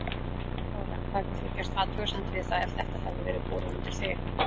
Þóra: Hefðir þú gert athugasemd við það ef þetta hefði verið borið undir þig?